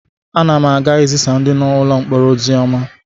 Ana m aga ị zisaara ndị nọ n'ụlọ mkpọrọ ozi ọma.